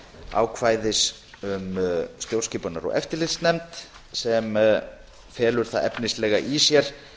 ákvæðis um stjórnskipunar og eftirlitsnefnd sem felur það efnislega í sér